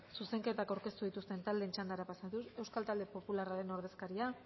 zuzenketak aurkeztu dituzten taldeen txandara pasatuz euskal talde popularraren ordezkaria